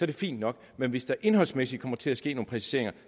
det fint nok men hvis der indholdsmæssigt kommer til at ske nogle præciseringer